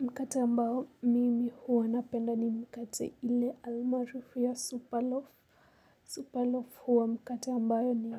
Mkate ambao mimi huwa napenda ni mkate ile almaarufu ya Superlove. Superlove huwa mkate ambayo ni